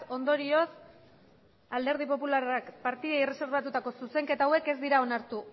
ondorioz alderdi popularrak partidei erreserbatutako zuzenketa hauek ez dira onartu